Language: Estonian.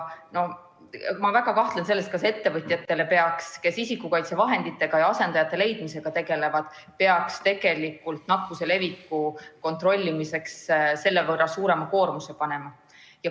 No ma väga kahtlen selles, kas ettevõtjatele, kes isikukaitsevahenditega ja asendajate leidmisega tegelevad, peaks ikka nakkuse leviku kontrollimiseks selle võrra suurema koormuse panema.